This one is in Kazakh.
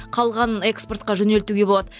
қалғанын экспортқа жөнелтуге болады